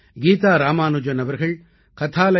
கீதா ராமானுஜன் அவர்கள் kathalaya